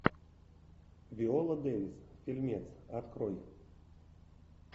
виола дэвис фильмец открой